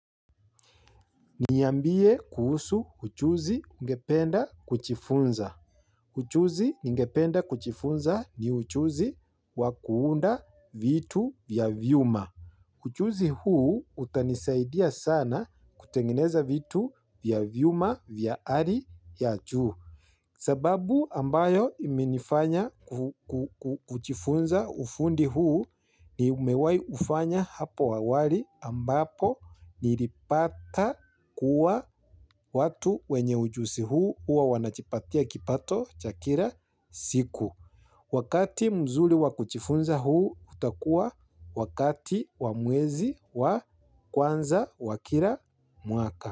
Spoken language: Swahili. Niambie kuhusu uchuuzi ungependa kujifunza. Uchuuzi ningependa kujifunza ni uchuuzi wa kuunda vitu vya vyuma. Uchuuzi huu utanisaidia sana kutengeneza vitu vya vyuma vya hali ya juu. Sababu ambayo imenifanya kujifunza ufundi huu ni nimewai ufanya hapo awali ambapo nilipata kuwa watu wenye ujuzi huu huwa wanajipatia kipato cha kila siku. Wakati mzuri wa kujifunza huu utakuwa wakati wa mwezi wa kwanza wa kila mwaka.